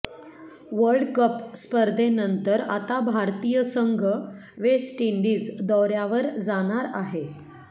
world cup स्पर्धेनंतर आता भारतीय संघ वेस्ट इंडिज दौऱ्यावर जाणार आहे